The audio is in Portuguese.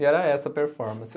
E era essa a performance.